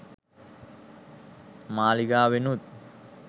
මාලිගාවෙනුත්